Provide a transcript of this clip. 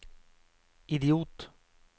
idiot